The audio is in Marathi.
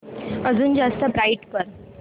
अजून जास्त ब्राईट कर